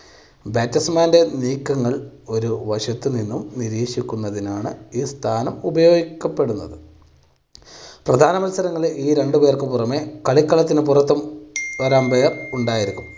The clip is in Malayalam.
batsman ൻ്റെ നീക്കങ്ങൾ ഒരു വശത്ത് നിന്നും നിരീക്ഷിക്കുന്നതിനാണ് ഈ സ്ഥാനം ഉപയോഗിക്കപ്പെടുന്നത്. പ്രധാന മത്സരങ്ങളിൽ ഈ രണ്ട് പേർക്ക് പുറമേ കളിക്കളത്തിന് പുറത്തും ഒരു umpire ഉണ്ടായിരിക്കും.